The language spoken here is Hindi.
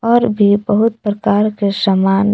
और भी बहुत प्रकार के सामान--